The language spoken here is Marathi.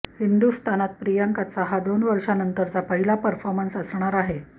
हिंदुस्थानात प्रियांकाचा हा दोन वर्षानंतरचा पहिला परफॉर्मन्स असणार आहे